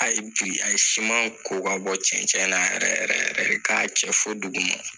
Ayi bi a ye siman ko ka bɔ cɛncɛn na yɛrɛ yɛrɛ, ka cɛ fɔ duguma